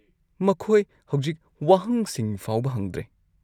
ꯃꯈꯣꯏ ꯍꯧꯖꯤꯛ ꯋꯥꯍꯪꯁꯤꯡ ꯐꯥꯎꯕ ꯍꯪꯗ꯭ꯔꯦ꯫